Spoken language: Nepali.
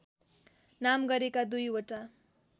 नाम गरेका दुईवटा